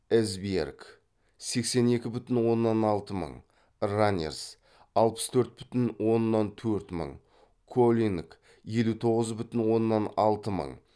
эсбьерг раннерс коллинг